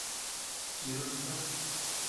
кировска